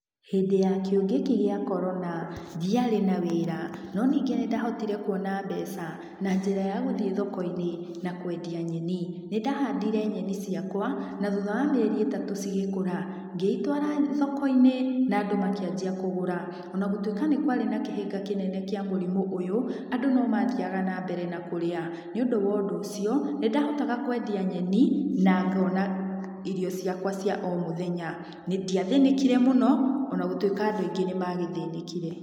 Hĩndĩ ya kĩng'ũki gĩa korona, ndiarĩ na wĩra, no ningĩ nĩ ndahotire kuona mbeca na njĩra ya gũthiĩ thoko-inĩ na kwendia nyeni. Nĩ ndahandire nyeni ciakwa, na thutha wa mĩeri ĩtatũ cigĩkũra.Ngĩitwara thoko-inĩ, na andũ makĩanjia kũgũra.O na gũtuĩka nĩ kwarĩ na kĩhĩnga kĩnene kĩa mũrimũ ũyũ, andũ no mathiaga na mbere na kũrĩa, nĩ ũndũ wa ũndũ ũcio, nĩndahotaga kwendia nyeni na ngona irio ciakwa cia o mũthenya. Niĩ ndĩathĩnĩkire mũno,o na gũtuĩka andũ aingĩ nĩ magĩthĩnĩkire.